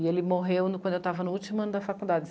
E ele morreu quando eu estava no último ano da